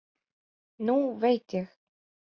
Nú veit ég.